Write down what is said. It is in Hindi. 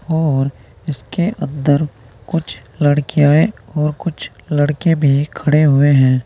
और इसके अंदर कुछ लड़कियांये है और कुछ लड़के भी खड़े हुए हैं।